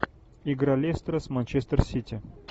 игра лестера с манчестер сити